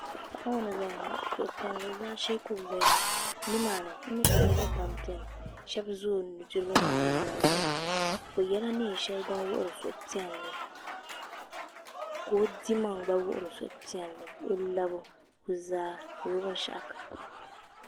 Paɣa n ʒɛya ŋo suhupiɛlli zaashee ka o ʒɛya ŋo nimaani n nyɛ ka niraba pam biɛni shab ʒɛ o nudirigu ni o nuzaa zuɣu bi yɛla neen shɛli din wuhuri suhupiɛlli ka o dimaŋ gba wuhuri suhupiɛlli o lari o zaa ni o binshaɣu kam